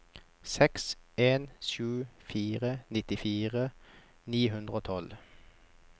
seks en sju fire nittifire ni hundre og tolv